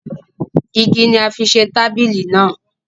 Igi ni a fi ṣe tabili naa